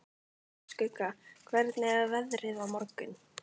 Skugga, hvernig er veðrið á morgun?